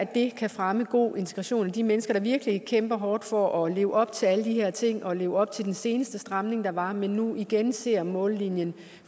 det kan fremme god integration altså at de mennesker der virkelig kæmper hårdt for at leve op til alle de her ting og leve op til den seneste stramning der var nu igen ser mållinjen